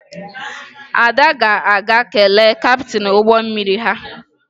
Ada ga-aga kelee kaptịn ụgbọ mmiri ha